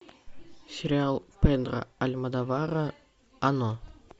сериал педро альмодовара оно